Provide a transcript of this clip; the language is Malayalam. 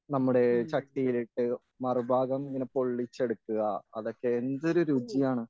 നമ്മുടെ ചട്ടിയിലിട്ട് മറുഭാഗം ഇങ്ങനെ പൊള്ളിച്ച് എടുക്കുക അതൊക്കെ എന്തൊരു രുചിയാണ്.